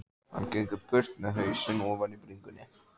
Hann gengur burt með hausinn ofan í bringu.